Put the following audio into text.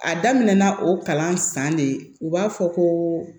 A daminɛ na o kalan san de u b'a fɔ ko